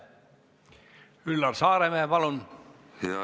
Üllar Saaremäe, palun!